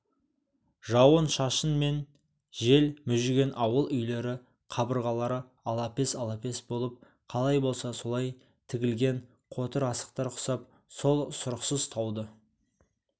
жауын-шашын мен жел мүжіген ауыл үйлері қабырғалары алапес-алапес болып қалай болса солай тігілген қотыр асықтар құсап сол сұрықсыз тауды